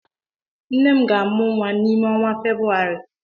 Nne m ga-amụ nwa n'ime ọnwa Febrụwarị.